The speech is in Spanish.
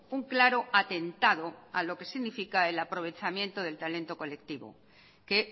un claro atentado a lo que significa el aprovechamiento del talento colectivo que